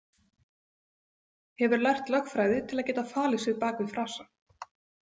Hefur lært lögfræði til að geta falið sig bak við frasa.